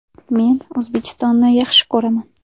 Men O‘zbekistonni yaxshi ko‘raman.